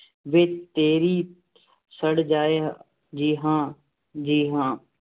ਵੇ ਤੇਰੀ ਸੜ ਜਾਵੇ, ਜੀ ਹਾਂ ਜੀ ਹਾਂ।